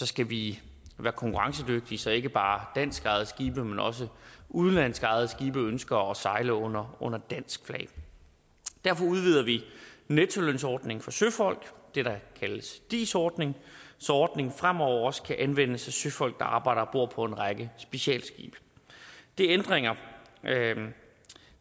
skal vi være konkurrencedygtige så ikke bare danskejede skibe men også udenlandsk ejede skibe ønsker at sejle under under dansk flag derfor udvider vi nettolønsordningen for søfolk det der kaldes dis ordningen så ordningen fremover også kan anvendes af søfolk der arbejder ombord på en række specialskibe det er ændringer